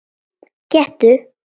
Gettu